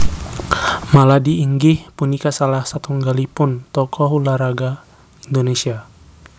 Maladi inggih punika salah satunggalipun tokoh ulah raga Indonésia